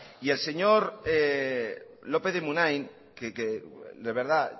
y el señor lópez de munain que de verdad